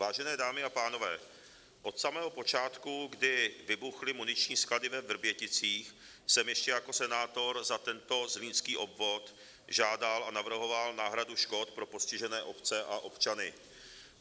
Vážené dámy a pánové, od samého počátku, kdy vybuchly muniční sklady ve Vrběticích, jsem ještě jako senátor za tento Zlínský obvod žádal a navrhoval náhradu škod pro postižené obce a občany.